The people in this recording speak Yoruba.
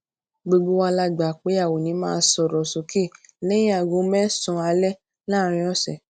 gbogbo wa la gbà pé a ò ní máa sòrò sókè léyìn aago mésànán alé láàárín òsè